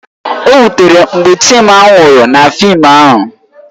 O wutere m mgbe Chima nwụrụ na fịịm ahụ